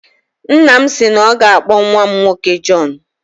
Nna m si na ọ ga-akpọ nnwa m nwoke Jọn